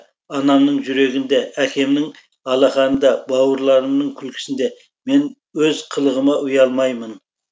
анамның жүрегінде әкемнің алақанында бауырларымның күлкісінде мен өз қылығыма ұялмаймын